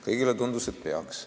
Kõigile tundus, et peaks.